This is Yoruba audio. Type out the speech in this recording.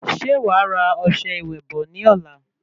Ṣe wa ra ọsẹ ìwẹ̀ bò ní ọ̀la?